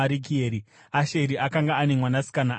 Asheri akanga ane mwanasikana ainzi Sera.